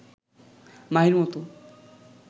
মাহির মতো